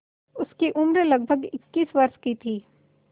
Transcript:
उसकी उम्र लगभग इक्कीस वर्ष की थी